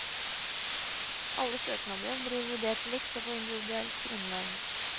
Alle søknader blir vurdert likt og på individuelt grunnlag.